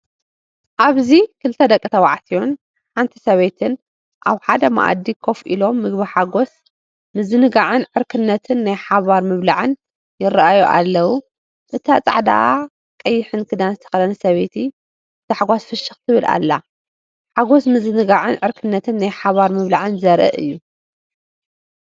ኣብዚ ክልተ ደቂ ተባዕትዮን ሓንቲ ሰበይትን ኣብ ሓደ መኣዲ ኮፍ ኢሎም ምግቢሓጎስ ምዝንጋዕን ዕርክነትን ናይ ሓባር ምብላዕን ይረኣዩ ኣለዉ። እታ ጻዕዳን ቀይሕን ክዳን ዝተኸድነት ሰበይቲ ብታሕጓስ ፍሽኽ ትብል ኣላ። ሓጎስ ምዝንጋዕን ዕርክነትን ናይ ሓባር ምብላዕን ዘርኢ እዩ።